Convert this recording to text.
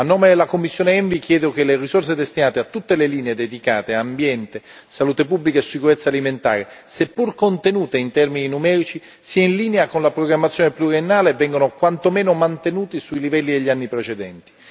A nome della commissione ENVI chiedo che le risorse destinate a tutte le linee dedicate ad ambiente, salute pubblica e sicurezza alimentare, seppur contenute in termini numerici, siano in linea con la programmazione pluriennale e vengano quantomeno mantenute sui livelli degli anni precedenti.